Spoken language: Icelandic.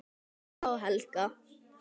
Harpa og Helga.